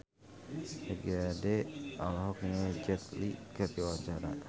Ebith G. Ade olohok ningali Jet Li keur diwawancara